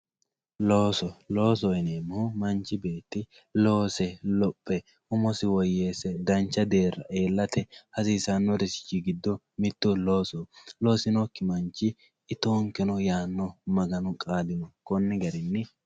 Looso, loosoho yineemohu manchi beetti loose lophe umosi woyyeesse dancha deerra iillatte hasisanorichi gido mito loosoho loosinokki manchi ittoonkenno yaano maganu qaali koni garini